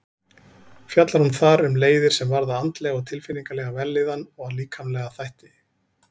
Fjallar hún þar um leiðir sem varða andlega og tilfinningalega vellíðan og líkamlega þætti.